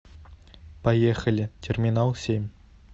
поехали терминал семь